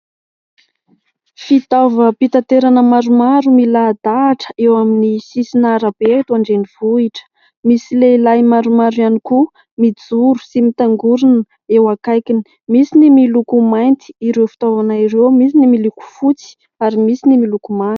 Fitaovam-pitaterana maromaro milahadahatra eo amin'ny sisin'arabe eto an-drenivohitra. Misy lehilahy maromaro ihany koa mijoro sy mitangorona eo akaikiny. Misy ny miloko mainty ireo fitaovana ireo, misy ny miloko fotsy ary misy ny miloko manga.